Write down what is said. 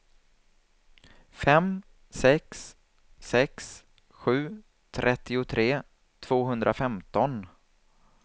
fem sex sex sju trettiotre tvåhundrafemton